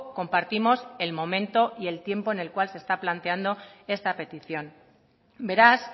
compartimos el momento y el tiempo en el cual se está planteando esta petición beraz